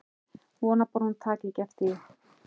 Vona bara að hún taki ekki eftir því.